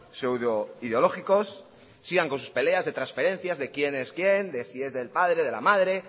pseudoideológicos sigan con sus peleas de transferencias de quién es quién de si es del padre de la madre